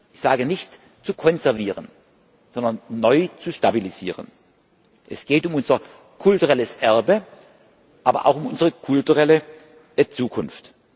Ich sage nicht zu konservieren, sondern neu zu stabilisieren. Es geht um unser kulturelles Erbe, aber auch um unsere kulturelle Zukunft.